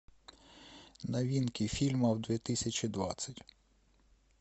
новинки фильмов две тысячи двадцать